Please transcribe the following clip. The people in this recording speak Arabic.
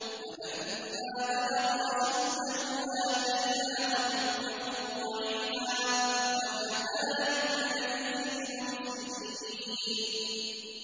وَلَمَّا بَلَغَ أَشُدَّهُ آتَيْنَاهُ حُكْمًا وَعِلْمًا ۚ وَكَذَٰلِكَ نَجْزِي الْمُحْسِنِينَ